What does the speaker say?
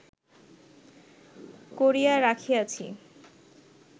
করিয়া রাখিয়াছি